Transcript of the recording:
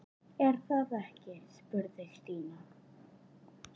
Er það ekki? spurði Stína.